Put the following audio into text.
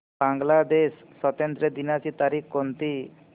बांग्लादेश स्वातंत्र्य दिनाची तारीख कोणती